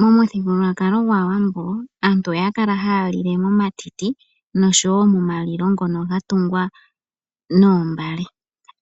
Momuthigululwakalo gwaawambo aantu oya kala haya lile momatiti noshowo mo malilo ngono ga tungwa noombale